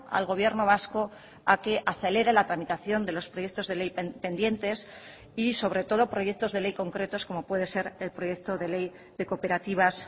al gobierno vasco a que acelere la tramitación de los proyectos de ley pendientes y sobre todo proyectos de ley concretos como puede ser el proyecto de ley de cooperativas